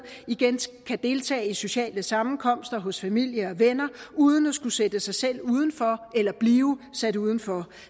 igen kan deltage i sociale sammenkomster hos familie og venner uden at skulle sætte sig selv udenfor eller blive sat udenfor